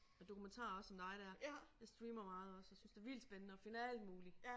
Og dokumentarer også som dig der. Jeg streamer meget også og synes det vildt spændende at finde alt muligt